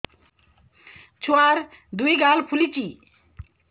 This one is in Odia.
ଛୁଆର୍ ଦୁଇ ଗାଲ ଫୁଲିଚି